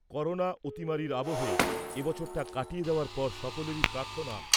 corona অতিমারির আবহে এবছরটা কাটিয়ে দেওয়ার পর সকলেরই প্রার্থনা